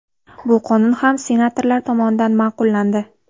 Bu qonun ham senatorlar tomonidan ma’qullandi.